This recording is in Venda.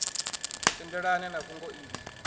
tendelana na na fhungo iḽi